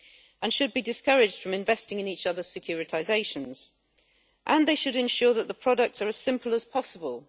They should be discouraged from investing in each other securitisations and should ensure that the products are as simple as possible.